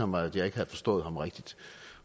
mig at jeg ikke havde forstået ham rigtigt